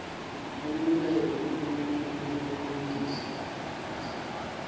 owolulele ulutya lokulinganisa